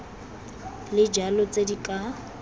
le jalo tse di ka